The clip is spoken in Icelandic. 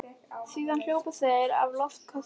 Síðan hjóluðu þeir í loftköstum heim.